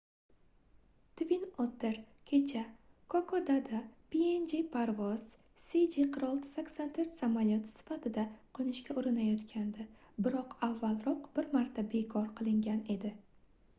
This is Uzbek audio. twin otter kecha kokodada png parvoz cg4684 samolyoti sifatida qoʻnishga urinayotgandi biroq avvalroq bir marta bekor qilingan edi